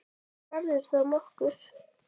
Ef hún verður þá nokkur.